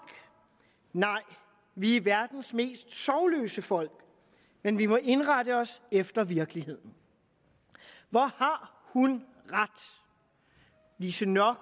nej vi er verdens mest sorgløse folk men vi må indrette os efter virkeligheden hvor har hun ret lise nørgaard